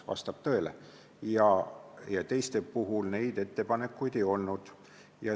Vastab tõele, teistel neid ettepanekuid ei olnud.